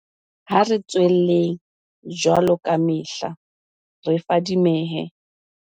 Ha re tswelleng, jwaloka kamehla, re fadimehe.